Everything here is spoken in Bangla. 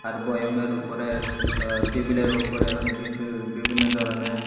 আর বয়ামের ওপরে আ টেবিলের ওপরে অনেককিছু বিভিন্ন ধরনের--